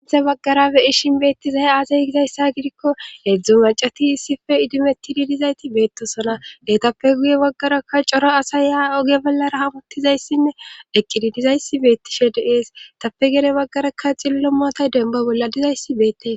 isssi baggara be ishin beettizay aazee gizayssa gidikko hedzdzu macati issife idimettidi dizayti beettosona heetappe guye waggarakka cora asaya oge ballara hamuttizayssinne eqqididizayssi beettishe de7ees etappe guye baggarakka xillo mootay denba bolla dizayssi beettes